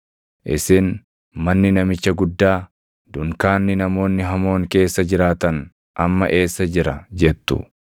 Isin, ‘Manni namicha guddaa, dunkaanni namoonni hamoon keessa jiraatan amma eessa jira?’ jettu.